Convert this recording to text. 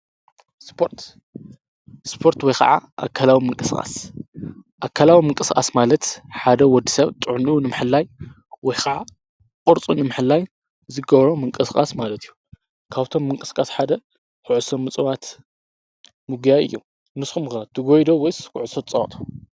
ስፖርት ወይ ኸዓ ኣካላዊ ምንቅስቃስ፣ ኣካላዊ ምንቅስቃስ ማለት ሓደ ወዲ ሰብ ጥዕኒኡ ንምሕላይ ወይ ኸዓ ቕርፁ ንምሕላይ ዝገብሮ ምንቅሥቃስ ማለት እዩ። ካብቶም ምንቅሥቃስ ሓደ ኩዕሶ ምጽዋት ምግያይ እየ። ንስኹም ትጐይ ዶ ወይስ ኩዕሶ ትጸዋቱ?